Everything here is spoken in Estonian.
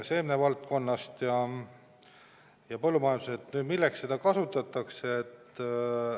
Seemnevaldkonnas ja põllumajanduses – milleks seda kasutatakse?